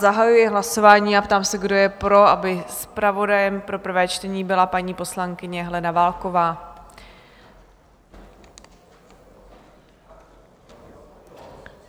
Zahajuji hlasování a ptám se, kdo je pro, aby zpravodajem pro prvé čtení byla paní poslankyně Helena Válková?